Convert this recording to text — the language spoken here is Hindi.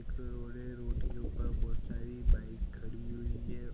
एक रोड है रोड के ऊपर बहुत सारी बाइक खड़ी हुई है।